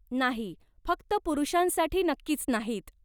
नाही, फक्त पुरुषांसाठी नक्कीच नाहीत.